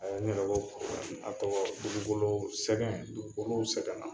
A nin de bɛ bɔ a tɔgɔ dugubolo sɛgɛn dugukolow sɛgɛnna